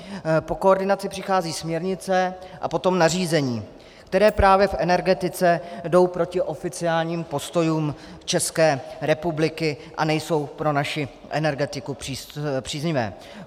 Po koordinaci přichází směrnice a potom nařízení, která právě v energetice jdou proti oficiálním postojům České republiky a nejsou pro naši energetiku příznivá.